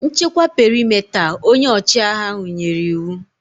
Nchekwa perimeta! Onye ọchịagha nyere iwu